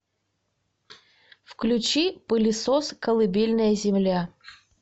включи пылесос колыбельная земля